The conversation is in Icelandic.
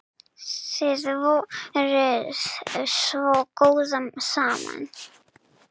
Þið voruð svo góð saman.